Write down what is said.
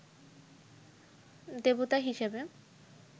দেবতা হিসেবে